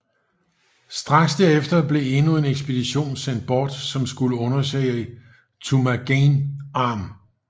Straks derefter blev endnu en ekspedition sendt bort som skulle undersøge Turnagain Arm